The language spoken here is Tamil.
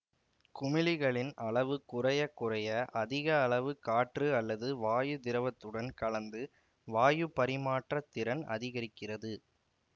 குமிழிகளின் அளவு குறையக் குறைய அதிக அளவு காற்று அல்லது வாயு திரவத்துடன் கலந்து வாயு பரிமாற்றத் திறன் அதிகரிக்கிறது